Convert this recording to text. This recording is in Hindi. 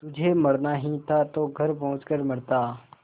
तुझे मरना ही था तो घर पहुँच कर मरता